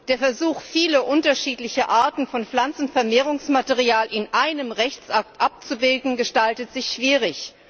Der Versuch, viele unterschiedliche Arten von Pflanzenvermehrungsmaterial in einem Rechtsakt abzubilden, gestaltet sich schwierig.